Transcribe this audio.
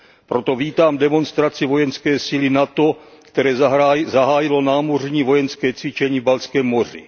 Proto vítám demonstraci vojenské síly NATO, které zahájilo námořní vojenské cvičení v Baltském moři.